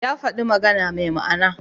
Ya faɗi magana mai ma'ana.